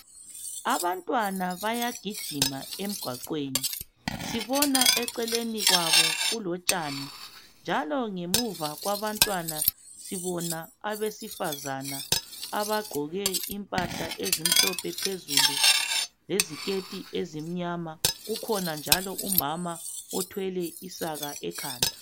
Abantwana bayagijima emgwaqweni sibona eceleni kwabo kulotshani njalo ngemuva kwabantwana sibona abesifazana abagqoke impahla ezimhlophe phezulu leziketi ezimnyama kukhona njalo umama othwele isaka ekhanda.